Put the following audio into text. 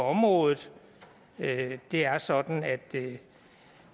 området det er sådan at